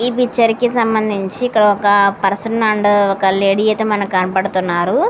ఈ పిక్చర్ కి సంబంధించి ఒక పర్సన్ అండ్ ఒక లేడీ అయితే మనకు కనబడుతున్నారు.